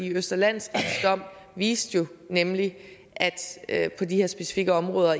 østre landsrets dom viste nemlig at på de her specifikke områder